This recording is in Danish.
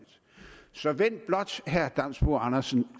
sådan